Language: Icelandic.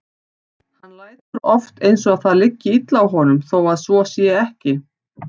Hann lætur oft eins og það liggi illa á honum þó að svo sé ekki.